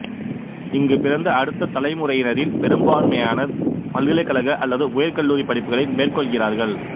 இங்கு பிறந்த அடுத்த தலைமுறையினரில் பெரும்பான்மையினர் பல்கலைக்கழக அல்லது உயர்கல்லூரிப் படிப்புக்களை மேற்கொள்கிறார்கள்